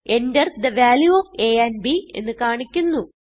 Enter the value of a and b എന്ന് കാണിക്കുന്നു